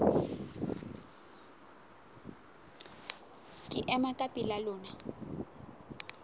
ke ema ka pela lona